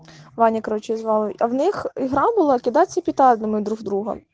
ваня короче звал а в них игра была кидаться петардами друг в друга